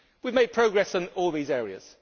We have made progress on all these areas.